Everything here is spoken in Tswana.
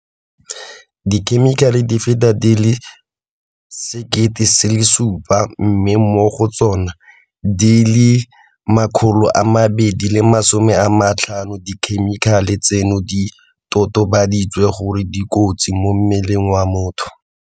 dikhemikhale di feta di le 7 000 mme mo go tsona, di le 250 tsa dikhemikhale tseno di totobaditswe gore di kotsi mo mmeleng wa motho.